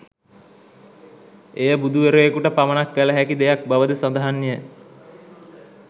එය බුදු වරයකුට පමණක් කළ හැකි දෙයක් බව ද සඳහන්ය